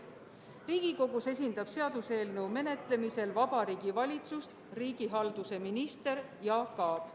Riigikogus esindab seaduseelnõu menetlemisel Vabariigi Valitsust riigihalduse minister Jaak Aab.